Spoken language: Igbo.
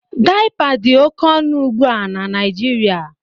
Daịpa dị oké ọnụ ugbu a na Naijiria